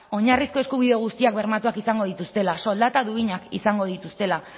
oinarrizko eskubide guztiak bermatuak izango dituztela soldata duinak izango dituztela